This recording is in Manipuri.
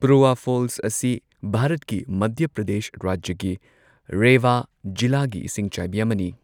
ꯄꯨꯔꯋꯥ ꯐꯣꯜꯁ ꯑꯁꯤ ꯚꯥꯔꯠꯀꯤ ꯃꯙ꯭ꯌ ꯄ꯭ꯔꯗꯦꯁ ꯔꯥꯖ꯭ꯌꯒꯤ ꯔꯦꯋꯥ ꯖꯤꯂꯥꯒꯤ ꯏꯁꯤꯡꯆꯥꯏꯕꯤ ꯑꯃꯅꯤ꯫